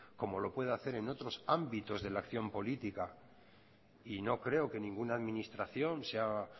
como lo puede hacer en otros ámbitos de la acción política y no creo que ninguna administración sea